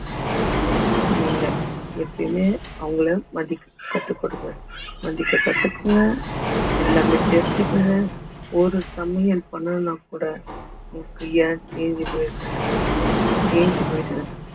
நீங்க எப்பவுமே அவங்களை மதிக்க கட்டுப்படுங்க மதிக்க கத்துக்கோங்க எல்லாமே தெரிஞ்சுக்கங்க ஒரு சமையல் பண்ணணும்னா கூட